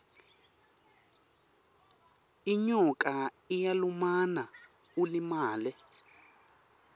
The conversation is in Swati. inyoka iyalumana ulimale